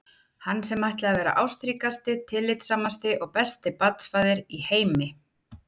Hann sem ætlaði að verða ástríkasti, tillitssamasti og besti barnsfaðir í heimi!